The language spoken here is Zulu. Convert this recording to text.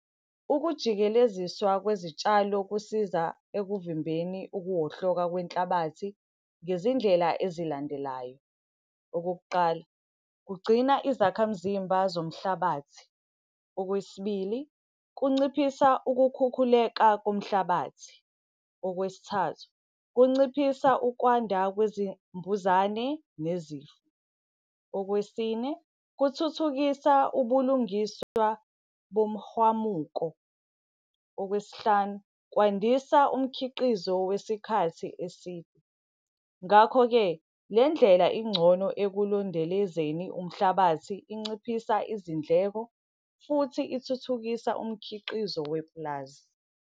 Ukujikeleziswa kwezitshalo kusiza ekuvimbeni ukuwohloka kwenhlabathi ngezindlela ezilandelayo. Okokuqala, kugcina izakhamzimba zomhlabathi. Okwesibili, kunciphisa ukukhukhuleka komhlabathi. Okwesithathu, kunciphisa ukwanda kwezimbuzane nezifo. Okwesine, kuthuthukisa ubulungiswa bomhwamuko. Okwesihlanu, kwandisa umkhiqizo wesikhathi eside. Ngakho-ke, le ndlela ingcono ekulondelezeni umhlabathi inciphisa izindleko futhi ithuthukisa umkhiqizo wepulazi.